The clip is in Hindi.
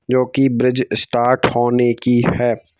जो कि ब्रिज स्टार्ट होने की है।